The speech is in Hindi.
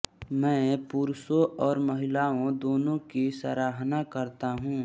मैं पुरुषों और महिलाओं दोनों की सराहना करता हूं